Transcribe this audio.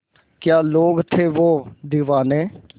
क्या लोग थे वो दीवाने